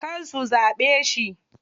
Kar zu zaɓe shi.